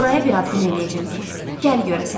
Nuraya bir ad günü eləyəcəm ki, gəl görəsən.